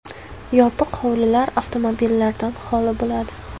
Yopiq hovlilar avtomobillardan holi bo‘ladi.